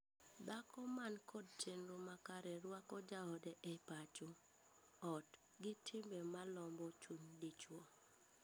Dhako man kod chenro makare rwako jaode e pacho (ot) gi timbe malombo chuny dichwo.